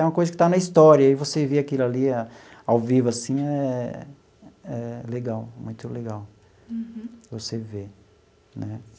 É uma coisa que está na história e você ver aquilo ali ao vivo assim é é legal, muito legal. Uhum. Você ver né.